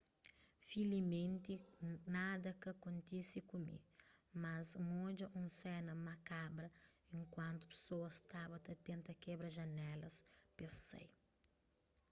filiimenti nada ka kontise ku mi mas n odja un sena makabra enkuantu pesoas staba ta tenta kebra janelas pes sai